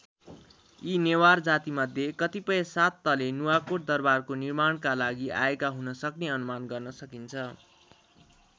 यी नेवार जातिमध्ये कतिपय सात तले नुवाकोट दरबारको निर्माणका लागि आएका हुनसक्ने अनुमान गर्न सकिन्छ।